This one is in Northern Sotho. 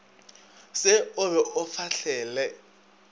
se o be o fahlele